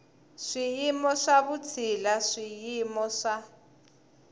swiyimo swa vutshila swiyimo swa